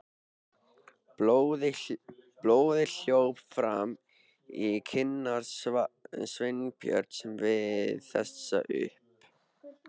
Blóðið hljóp fram í kinnar Sveinbjörns við þessar upp